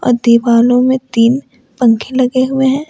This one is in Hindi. दीवालों में तीन पंखे लगे हुए हैं।